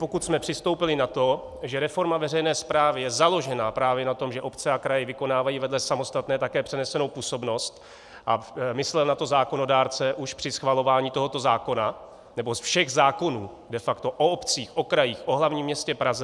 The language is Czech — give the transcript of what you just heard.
Pokud jsme přistoupili na to, že reforma veřejné správy je založena právě na tom, že obce a kraje vykonávají vedle samostatné také přenesenou působnost, a myslel na to zákonodárce už při schvalování tohoto zákona, nebo všech zákonů de facto o obcích, o krajích, o hlavním městě Praze.